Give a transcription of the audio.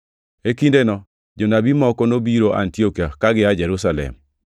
E kindeno, jonabi moko nobiro Antiokia ka gia Jerusalem.